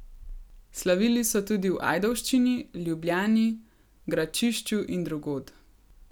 Slavili so tudi v Ajdovščini, Ljubljani, Gračišču in drugod.